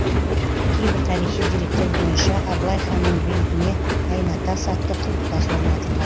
кейбір тарихи деректер бойынша абылай ханның бейтіне айна тас атты құлпытас орнатылған